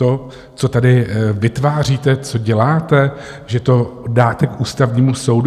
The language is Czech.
To, co tady vytváříte, co děláte, že to dáte k Ústavnímu soudu?